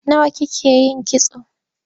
Nawa kike yin kitso?